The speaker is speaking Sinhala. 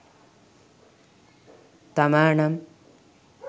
තමා නම්